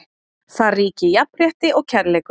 Þar ríki jafnrétti og kærleikur.